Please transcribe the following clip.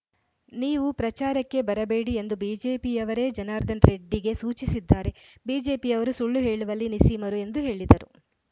ನೀವು ಪ್ರಚಾರಕ್ಕೆ ಬರಬೇಡಿ ಎಂದು ಬಿಜೆಪಿಯವರೇ ಜನಾರ್ದನ್ ರೆಡ್ಡಿಗೆ ಸೂಚಿಸಿದ್ದಾರೆ ಬಿಜೆಪಿಯವರು ಸುಳ್ಳು ಹೇಳುವಲ್ಲಿ ನಿಸ್ಸೀಮರು ಎಂದು ಹೇಳಿದರು